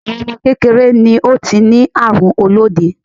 Awon ọmọ kékeré ni ó ti ní àrùn olóde.